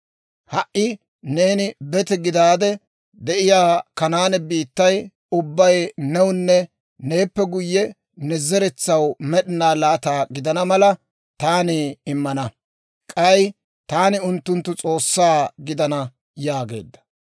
Ha"i neeni bete gidaade de'iyaa Kanaane biittay ubbay newunne neeppe guyye ne zeretsaw med'inaw laata gidana mala taani immana; k'ay taani unttunttu S'oossaa gidana» yaageedda.